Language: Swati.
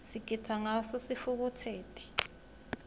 sigitsa ngawo sitfukutseti